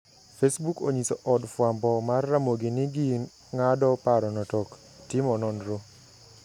Facebook onyiso od fwambo mar Ramogi ni ging`ado parono tok timo nonro.